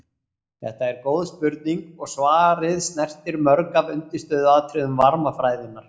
Þetta er góð spurning og svarið snertir mörg af undirstöðuatriðum varmafræðinnar.